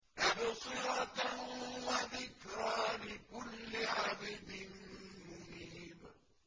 تَبْصِرَةً وَذِكْرَىٰ لِكُلِّ عَبْدٍ مُّنِيبٍ